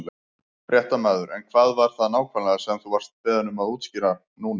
Fréttamaður: En hvað var það nákvæmlega sem þú vart beðinn um að útskýra núna?